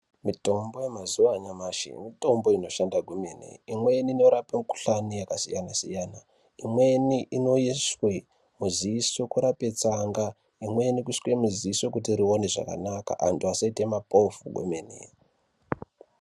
Mitombo yemazuwa anyamshi mitombo inoshanda kwemene imweni inorape mikhuhlani yakasiyana siyana. Imweni inoiswe muziso kurape tsanga imweni kuiswe muziso kuti rione zvakanaka antu asaite mapofu kwemene.